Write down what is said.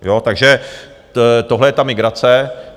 Takže tohle je ta migrace.